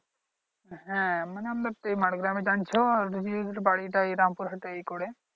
হ্যা মানে আমরা বাড়িটা এই রামপুর হাটেই করে